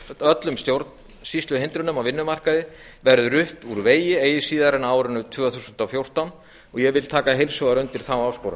öllum stjórnsýsluhindrunum á vinnumarkaði verði rutt úr vegi eigi síðar en á árinu tvö þúsund og fjórtán ég til taka heilshugar undir þá áskorun